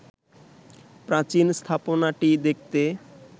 প্রাচীন স্থাপনাটি দেখতে